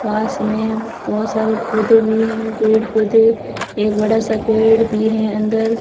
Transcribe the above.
पास में बहोत सारे पौधे भी हैं पेड़ पौधे एक बड़ा सा पेड़ भी है अंदर।